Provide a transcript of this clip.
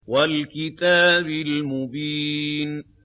وَالْكِتَابِ الْمُبِينِ